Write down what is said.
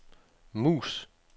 mus